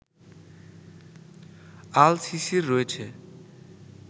আল সিসির রয়েছে